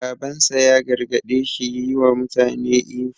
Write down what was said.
Babansa ya gargaɗe shi yi wa mutane ihu.